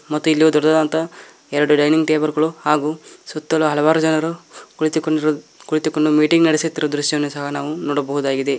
ಮತ್ತು ಇಲ್ಲಿ ದೊಡ್ಡದಾದಂತ ಎರಡು ಡೈನಿಂಗ್ ಟೇಬಲ್ ಗಳು ಹಾಗು ಸುತ್ತಲೂ ಹಲವಾರು ಜನರು ಕುಳಿತುಕೊಂಡಿರುವ ಕುಳಿತುಕೊಂಡು ಮೀಟಿಂಗ್ ನಡೆಸುತ್ತಿರುವ ದೃಶ್ಯವನ್ನು ಸಹ ನಾವು ನೋಡಬಹುದಾಗಿದೆ.